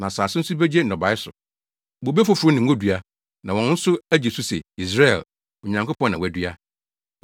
na asase nso begye nnɔbae so: bobe foforo ne ngodua, na wɔn nso agye so se ‘Yesreel’, ‘Onyankopɔn na wadua.’